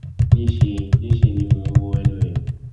níṣẹ níṣẹ ni mò ń wo ẹnu ẹ